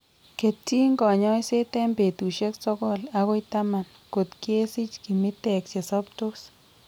Ketyin kanyoiseet eng' betusiek sogol akoi taman kot kesich kimitek chesobtos